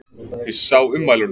Hissa á ummælunum